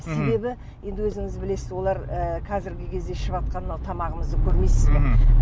себебі енді өзіңіз білесіз олар ы қазіргі кезде ішіватқан мынау тамағымызды көрмейсіз бе мхм